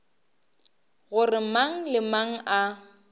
gore mang le mang a